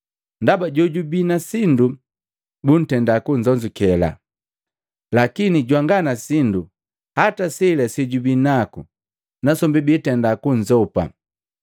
Ndaba jojubi na sindu buntenda kunzonzukela. Lakini jwanga na sindu hata sela sejubinaku nasombi biitenda kunzopa.